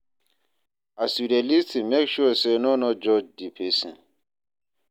As you de lis ten make sure say no no judge di persin